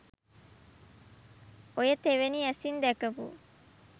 ඔය තෙවෙනි ඇසින් දැකපු